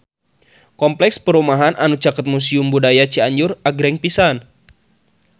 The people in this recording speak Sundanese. Kompleks perumahan anu caket Museum Budaya Cianjur agreng pisan